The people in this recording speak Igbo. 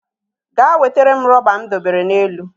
Ga wetere m rọba m dobere n'elu